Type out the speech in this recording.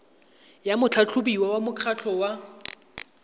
ya motlhatlhobiwa wa mokgatlho wa